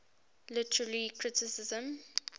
literary criticism